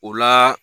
O la